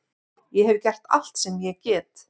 Ég hef gert allt sem ég get.